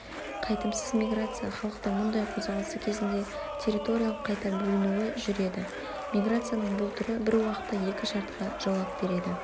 қайтымсыз миграция-халықтың мұндай қозғалысы кезінде территориялық қайта бөлінуі жүреді миграцияның бұл түрі бір уақытта екі шартқа жауап береді